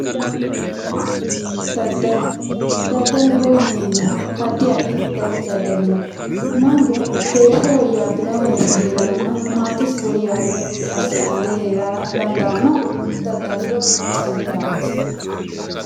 Daddallu ,daddalloho yineemmohu addi addi daddalli no, mannu heeshsho woyyabbino heeraranna maatesi woyyawino gede asse amade heerara dandaanohu daddaliro callati.